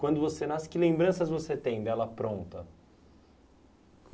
Quando você nasce, que lembranças você tem dela pronta?